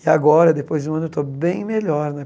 E agora, depois de um ano, eu estou bem melhor, né?